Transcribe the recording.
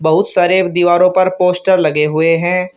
बहुत सारे दीवारों पर पोस्टर लगे हुए हैं।